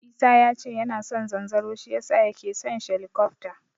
Isa yace yana son zanzaro shi yasa yake son shelikofta.